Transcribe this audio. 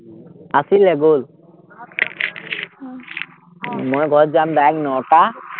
আছিলে গ'ল মই ঘৰত যাম direct নটা